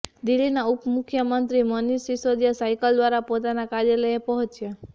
દિલ્હીના ઉપ મુખ્યમંત્રી મનીષ સિસોદિયા સાયકલ દ્વારા પોતાના કાર્યાલયે પહોંચ્યા